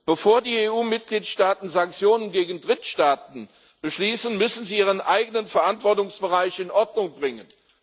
Bevor die EU Mitgliedstaaten Sanktionen gegen Drittstaaten beschließen, müssen sie ihren eigenen Verantwortungsbereich in Ordnung bringen.